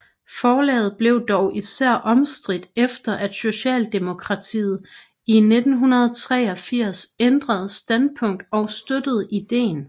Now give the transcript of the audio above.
Forslaget blev dog især omstridt efter at Socialdemokratiet i 1983 ændrede standpunkt og støttede ideen